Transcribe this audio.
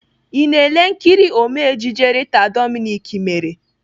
I na-ele nkiri Ome ejije Rita Dominic mere?